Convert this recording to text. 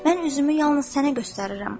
Mən üzümü yalnız sənə göstərirəm.